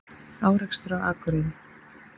Árekstur á Akureyri